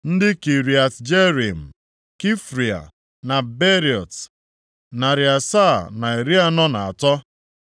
ndị Kiriat Jearim, Kefira na Beerọt, narị asaa na iri anọ na atọ (743),